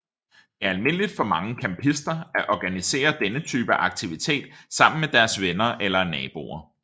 Det er almindeligt for mange campister at organisere denne type aktivitet sammen med deres venner eller naboer